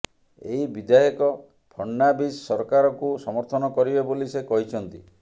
ଏହି ବିଧାୟକ ଫଡ଼ନାଭିସ ସରକାରକୁ ସମର୍ଥନ କରିବେ ବୋଲି ସେ କହିଛନ୍ତି